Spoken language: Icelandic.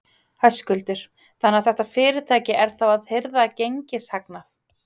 Höskuldur: Þannig að þetta fyrirtæki er þá að hirða gengishagnað?